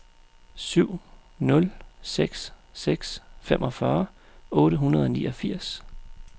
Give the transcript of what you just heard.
syv nul seks seks femogfyrre otte hundrede og niogfirs